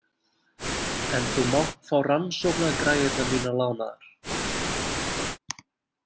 En þú mátt fá rannsóknargræjurnar mínar lánaðar